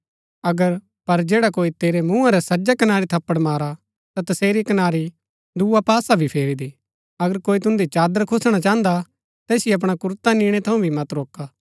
अगर पर जैडा कोई तेरै मुँहा रै सज्जै कनारी थप्पड़ मारा ता तसेरी कनारी दुआ पासा भी फेरी दे अगर कोई तुन्दी चादर खूसणा चाहन्दा तैसिओ अपणा कुरता निणै थऊँ भी मत रोका